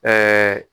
Ɛɛ